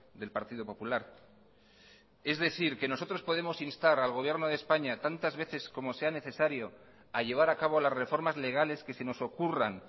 del partido popular es decir nosotros podemos instar al gobierno de españa tantas veces como sea necesario a llevar a cabo las reformas legales que se nos ocurran